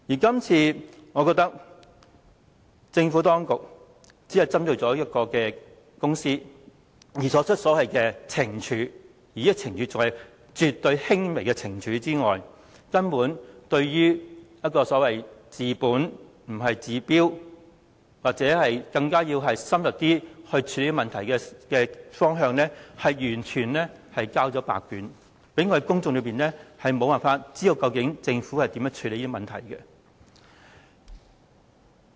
今次政府當局除了只針對這間公司作出懲處，而且是絕對輕微的懲處之外，對於如何以治本不治標的方法或透過更深入檢視處理問題方面，更是完全交白卷，令公眾無法得悉政府如何處理這些問題。